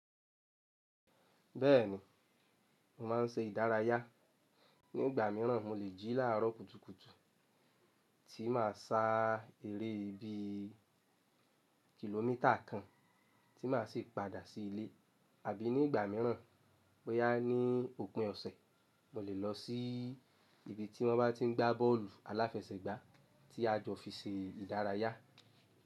Bẹ́ẹ̀ni, mo máa ń ṣe ìdárayá. Ní ìgbà míràn mo lè jí láàárọ̀ kùtùkùtù tí máa sá eré ibi kìlómítà kan tí mà á sì padà sí ilé, àbí ní ìgbà míràn boyá ní òpin ọ̀sẹ̀ mo lè lọ sí ibi tí wọ́n bá tí ń gbá bọ́ọ̀lù aláfẹsẹ̀gbá tí a jọ fi ṣe ìdárayá.